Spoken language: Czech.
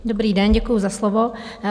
Dobrý den, děkuji za slovo.